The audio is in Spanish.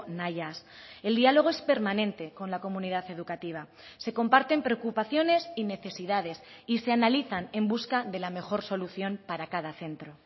nahiaz el diálogo es permanente con la comunidad educativa se comparten preocupaciones y necesidades y se analizan en busca de la mejor solución para cada centro